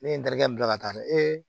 Ne ye n ta kɛ bila ka taa dɛ